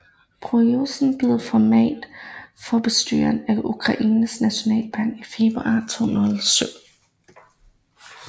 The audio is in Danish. Porosjenko blev formand for bestyrelsen for Ukraines Nationalbank i februar 2007